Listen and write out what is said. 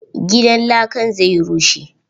Gidan lakan zai rushe.